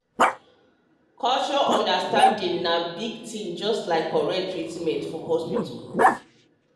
um um cultural understanding na big thing just like correct um treatment for hospital.